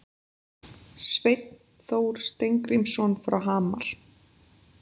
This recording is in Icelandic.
Sveinn Þór Steingrímsson frá Hamar